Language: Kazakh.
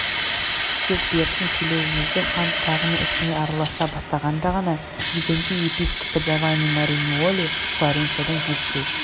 тек бертін келе өзі хан тағының ісіне араласа бастағанда ғана византия епископы джавани мариньолли флоренциядан жетісу